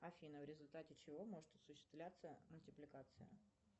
афина в результате чего может осуществляться мультипликация